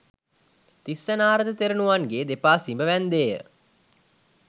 තිස්ස නාරද තෙරණුවන්ගේ දෙපා සිඹ වැන්ඳේය